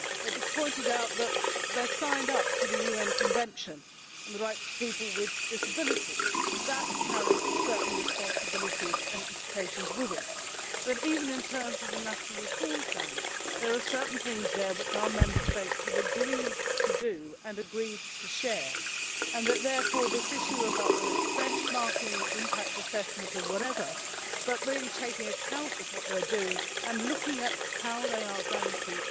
It was pointed out that they signed up to the UN Convention on the Rights of People with Disabilities. That carries certain responsibilities and implications with it but, even in terms of the national reform plans, there are certain things there which our Member States have agreed to do and agreed to share, and therefore the issue whether it is about benchmarking, impact assessment or whatever is about taking account of what they are doing and looking at how they are going to